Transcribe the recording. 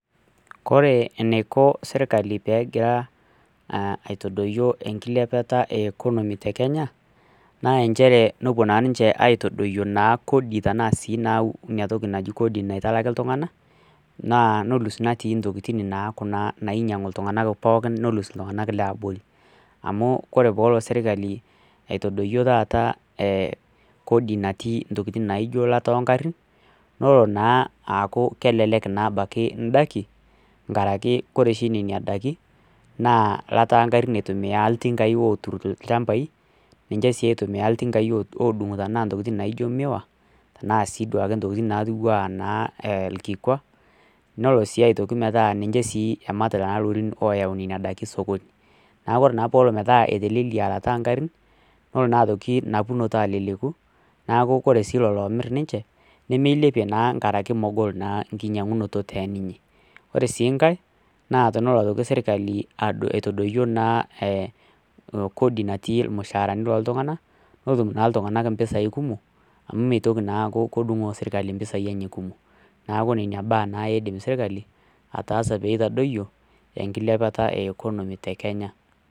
Kore enaiko serkali pee egira aitadoyio enkilepata ekonomy tekenya naa inchere nepuo naa ninche aitadoyio inatoki naji kodi naitaliki iltung'anak naa nelus intokitin ooltung'anak nelus I ooltung'anak looti abori amu amu kore tenelo serkali aitadoyio kodi naijio taa elata oongarin leno naa aaaku kelelk abaiki indaikin nkaraki kore oshi nena daikin naa ilata engarin eitumiya oltinkai ooturito ilchambai ninche sii eitumiya iltinkai oodung'ito intokitin naaijio miwa naa sii intokitin naake irkikwa nelo sii aaku ninche emat irorin ootau nena daiki sokoni neeku naa ore peelo peeku etelelia eilata oongarin nelo naa aitoki napunoto aleleku neeku kore sii lelo oomir ninche nemeilepie naa nkaraki megol enkinyiang'unoto teninye ore sii nkae nee tenelo serkali aitadoyio irmushaarani loontung'anak netum naa iltung'anak impisai kumo amu meitoki naa aku kedun serkali impisai enye kumok neeku nena baa naa edim serkali ataasa peitadoyio enkilepata ekonomi te kenya.